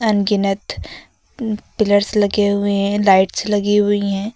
अनगिनत पिलर्स लगे हुए हैं लाइट्स लगी हुई हैं।